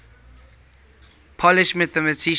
polish mathematicians